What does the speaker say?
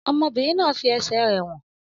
Ọmọbìnrin náà fi ẹsẹ̀ rẹ̀ wọ̀n